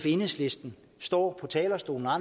enhedslisten står på talerstolen og